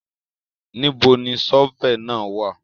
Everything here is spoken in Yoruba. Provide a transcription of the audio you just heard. Níbo ni ṣọ́fẹ̀ náà wà?